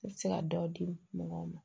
I bɛ se ka dɔ di mɔgɔw ma